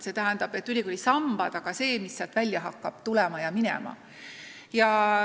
Sellel on ülikooli sambad ja ka see, mis sealt välja hakkab tulema ja minema.